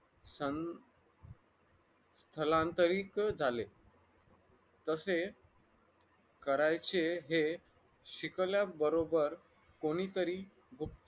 हम्म स्थलांतरित झाले तसे करायचे हे शिकल्याबरोबर कोणीतरी सं